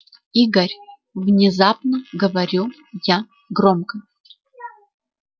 игорь внезапно говорю я громко